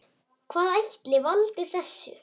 Hvað ætli valdi þessu?